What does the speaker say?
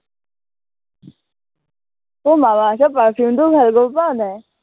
তুমি মামা আৰ্থৰ perfume টোও ভাল, গম পোৱা নাই